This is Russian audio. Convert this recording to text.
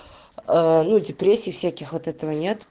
а ну депрессий всяких вот этого нет